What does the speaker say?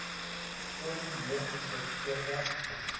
foon neersit voordat